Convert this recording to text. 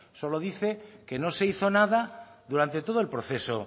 solo dice que no se hizo nada durante todo el proceso